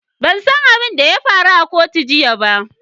Ban san abin da ya faru a kotu jiya ba.